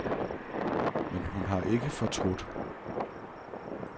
Men hun har ikke fortrudt.